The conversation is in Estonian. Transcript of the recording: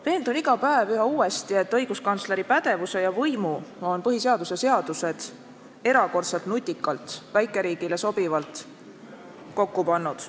Veendun iga päev üha uuesti, et õiguskantsleri pädevuse ja võimu on põhiseadus ja muud seadused erakordselt nutikalt ja väikeriigile sobivalt kokku pannud.